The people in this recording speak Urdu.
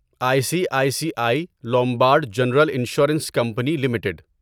I C I C I Lombard general insurance company limited